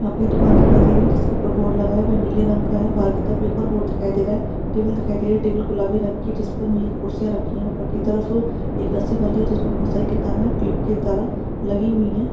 यहाँ पर दुकान दिखाई दे रही है जिसके ऊपर बोर्ड लगा है वह नीले रंग का है बाहर की तरफ एक और बोर्ड दिखाई दे रहा है टेबल दिखाई दे टेबल गुलाबी रंग की जिस पर मेज़ कुर्सियाँ रखी है ऊपर की तरफ एक रस्सी बांधी है जिसमें बहुत सारी किताबें क्लिप की तरह लगी हुई है।